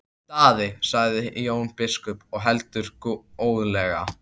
Daði, sagði Jón biskup og heldur góðlega.